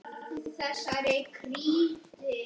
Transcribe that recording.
Þeir höfðu verið taldir af.